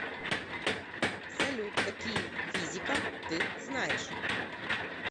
салют какие физика ты знаешь